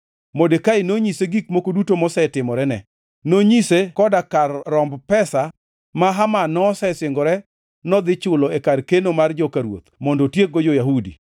Modekai nonyise gik moko duto mosetimorene, nonyise koda kar romb pesa ma Haman nosesingore nodhi chulo e kar keno mar joka ruoth mondo otiekgo jo-Yahudi.